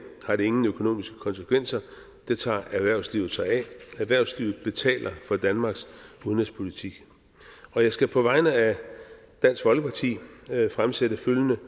har det ingen økonomiske konsekvenser det tager erhvervslivet sig af erhvervslivet betaler for danmarks udenrigspolitik jeg skal på vegne af dansk folkeparti fremsætte følgende